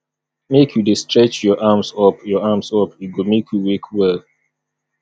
make you dey stretch your arms up your arms up e go make you wake well